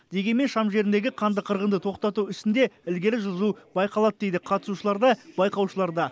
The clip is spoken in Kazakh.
дегенмен шам жеріндегі қанды қырғынды тоқтату ісінде ілгері жылжу байқалады дейді қатысушылар да байқаушылар да